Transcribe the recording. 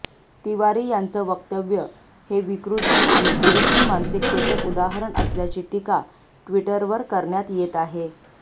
तिवारी यांचं वक्तव्यं हे विकृती आणि पुरुषी मानसिकतेचं उदाहरण असल्याची टीका ट्विटरवर करण्यात येत आहे